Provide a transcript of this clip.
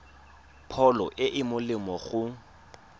pholo e e molemo go